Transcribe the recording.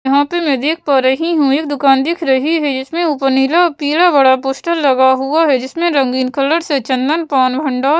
यहाँ पे मैं देख पा रही हूँ एक दुकान दिख रही है जिसमें ऊपर नीला पीला बड़ा पोस्टर लगा हुआ है जिसमें रंगीन कलर से चंदन पान भंडार --